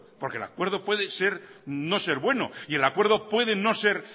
porque el acuerdo puede no ser bueno y el acuerdo puede no ser